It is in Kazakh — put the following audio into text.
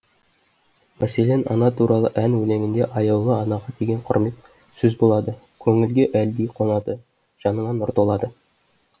мәселен ана туралы ән өлеңінде аяулы анаға деген құрмет сөз болады көңілге әлди қонады жаныңа нұр толады